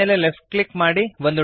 ನ ಮೇಲೆ left click ಮಾಡಿರಿ